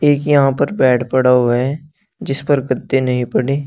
यहां पर बेड पड़ा हुआ है जिस पर गद्दे नहीं पड़े।